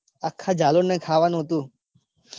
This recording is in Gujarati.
આખા જાલોર ને ખાવા નું હતું.